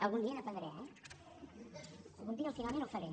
algun dia n’aprendré eh algun dia finalment ho faré